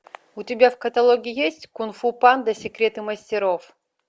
у тебя в каталоге есть кунг фу панда секреты мастеров